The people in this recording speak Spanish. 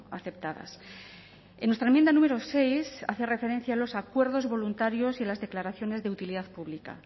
aceptadas en nuestra enmienda número seis hace referencia a los acuerdos voluntarios y a las declaraciones de utilidad pública